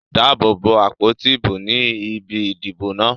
Dáàbò bo àpótí ìbò ní ibi ìdìbò náà.